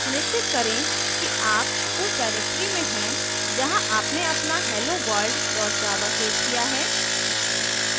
सुनिश्चित करें कि आप उस directory में हैं जहाँ आपने अपना helloworld java सेव किया है